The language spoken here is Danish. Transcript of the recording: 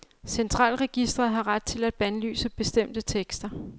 Centralregisteret har ret til at bandlyse bestemte tekster.